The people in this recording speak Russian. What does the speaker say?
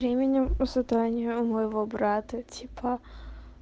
временем у задания у моего брата типа